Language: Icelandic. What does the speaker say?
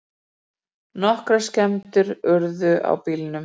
Nokkrar skemmdir urðu á bílnum